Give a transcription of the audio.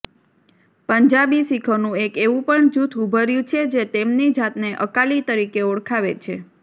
પંજાબી શીખોનું એક એવુ પણ જૂથ ઉભર્યુ છે જે તેમની જાતને અકાલી તરીકે ઓળખાવે છે